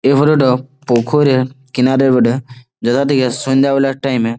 এই ফটো টো পুকুরে কিনারে বটে। যেখান থেকে সন্ধ্যে বেলার টাইম -এ--